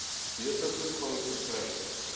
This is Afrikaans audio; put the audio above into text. beter toegang verkry